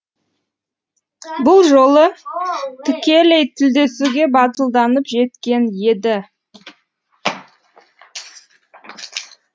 бұл жолы тікелей тілдесуге батылданып жеткен еді